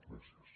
gràcies